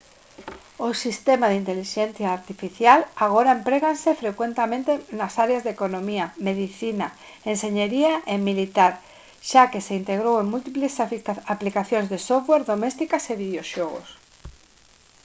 o sistema de ia agora empréganse frecuentemente nas áreas de economía medicina enxeñería e militar xa que se integrou en múltiples aplicacións de software domésticas e videoxogos